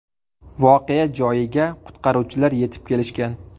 Voqea joyiga qutqaruvchilar yetib kelishgan.